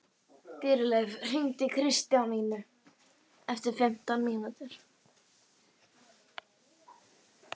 Dýrleif, hringdu í Kristjánínu eftir fimmtán mínútur.